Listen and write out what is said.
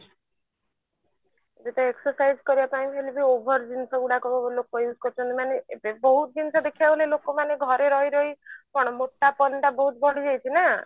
ଗୋଟେ exercise କରିବା ପାଇଁ ବି ମାନେ ବହୁତ ଜିନିଷ ଦେଖିବାକୁ ଗଲେ ଲୋକ ମାନେ ଘରେ ରହି ରହି କଣ ମୋଟାପଣ ଟା ବହୁତ ବଢି ଯାଉଛି ନା